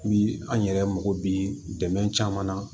Bi an yɛrɛ mako bi dɛmɛ caman na